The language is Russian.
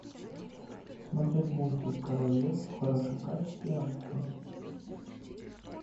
смотреть мультик король лев в хорошем качестве онлайн